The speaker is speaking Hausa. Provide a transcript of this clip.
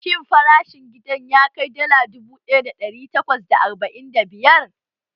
Shin farashin gidan ya kai dala dubu ɗaya da ɗari takwas da arba'in da biyar?